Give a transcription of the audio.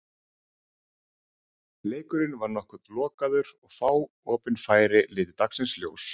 Leikurinn var nokkuð lokaður og fá opin færi litu dagsins ljós.